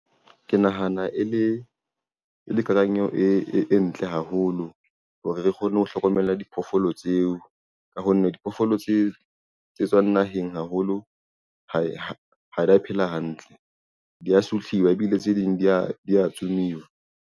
Ke nahana e le kanang eo e ntle haholo hore re kgone ho hlokomela diphoofolo tseo ka ho nne diphoofolo tse tswang naheng haholo ha dia phela hantle, dia sutliwa, ebile tse ding di a tsumiwa.